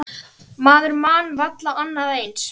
Maður man varla annað eins.